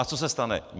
A co se stane?